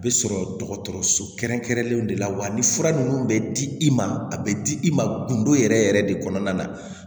A bɛ sɔrɔ dɔgɔtɔrɔso kɛrɛnkɛrɛnlenw de la wa ni fura ninnu bɛ di i ma a bɛ di i ma gundo yɛrɛ yɛrɛ de kɔnɔna na